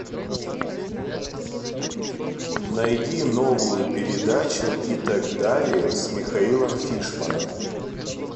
найди новую передачу и так далее с михаилом фишманом